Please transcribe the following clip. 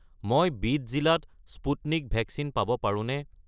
মই বিদ জিলাত স্পুটনিক ভেকচিন পাব পাৰোঁনে?